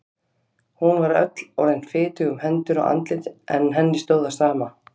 Hún var öll orðin fitug um hendur og andlit en henni stóð á sama.